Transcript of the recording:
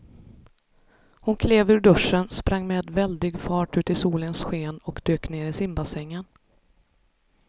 Hon klev ur duschen, sprang med väldig fart ut i solens sken och dök ner i simbassängen.